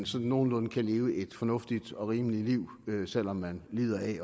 sådan nogenlunde kan leve et fornuftigt og rimeligt liv med selv om man lider af